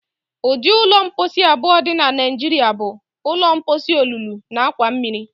Ụdị ụlọ mposi abụọ dị na Naijiria bụ: ụlọ mposi olulu na akwa mmiri.